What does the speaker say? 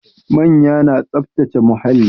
Manya na tsaftace muhalli